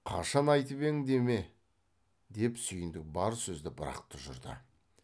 қашан айтып ең деме деп сүйіндік бар сөзді бір ақ тұжырды